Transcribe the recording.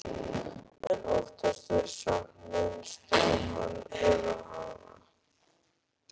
En oftast er samt minnst á Hann eða Hana.